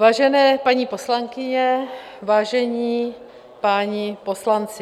Vážené paní poslankyně, vážení páni poslanci...